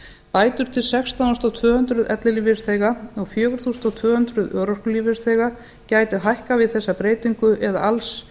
bætur til sextán þúsund tvö hundruð ellilífeyrisþega og fjögur þúsund tvö hundruð örorkulífeyrisþega gætu hækkað við þessa breytingu eða alls